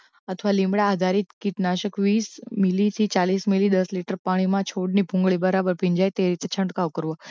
અથવા લીમડાં આધારિત કીટનાશક વીસ મિલી થી ચાલીસ મિલી દસ લિટર પાણીમાં છોડની ભૂંગળી બરાબર ભીંજાય તે રીતે છંટકાવ કરવો